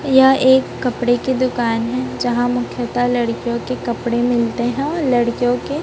यह एक कपड़े की दुकान है जहां मुख्यत लड़कियों के कपड़े मिलते हैं लड़कियों के--